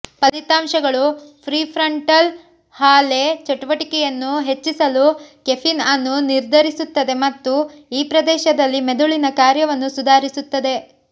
ಫಲಿತಾಂಶಗಳು ಪ್ರಿಫ್ರಂಟಲ್ ಹಾಲೆ ಚಟುವಟಿಕೆಯನ್ನು ಹೆಚ್ಚಿಸಲು ಕೆಫೀನ್ ಅನ್ನು ನಿರ್ಧರಿಸುತ್ತದೆ ಮತ್ತು ಈ ಪ್ರದೇಶದಲ್ಲಿ ಮೆದುಳಿನ ಕಾರ್ಯವನ್ನು ಸುಧಾರಿಸುತ್ತದೆ